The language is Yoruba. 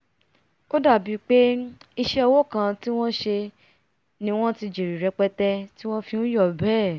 ó dàbí pé iṣẹ́ òwò kan tí wọn sẹ ni wọ́n ti jèrè rẹpẹtẹ ti wọ́n fi nyọ̀ bẹ́ẹ̀